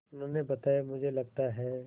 उन्होंने बताया मुझे लगता है